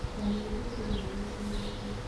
Mami thire rũĩ ti thoko